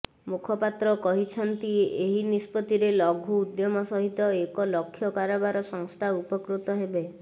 ମୁଖପାତ୍ର କହିଛନ୍ତି ଏହି ନିଷ୍ପତ୍ତିରେ ଲଘୁ ଉଦ୍ୟମ ସହିତ ଏକ ଲକ୍ଷ କାରବାର ସଂସ୍ଥା ଉପକୃତ ହେବେ